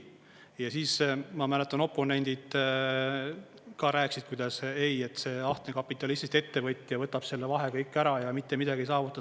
Ja siis ma mäletan, oponendid ka rääkisid, kuidas, ei, et see ahne kapitalistist ettevõtja võtab selle vahe kõik ära ja mitte midagi ei saavuta.